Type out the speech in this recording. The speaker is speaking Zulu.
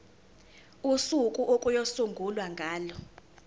usuku okuyosungulwa ngalo